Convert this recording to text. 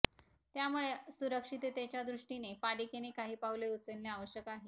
त्यामुळे सुरक्षिततेच्या दृष्टीने पालिकेने काही पावले उचलणे आवश्यक आहे